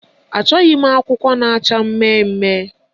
Achọghị m akwụkwọ na-acha mmemmme